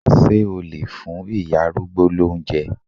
Ṣé o lè fún ìyá arúgbó lóúnjẹ?